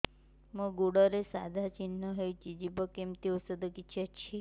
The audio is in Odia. ମୋ ଗୁଡ଼ରେ ସାଧା ଚିହ୍ନ ହେଇଚି ଯିବ କେମିତି ଔଷଧ କିଛି ଅଛି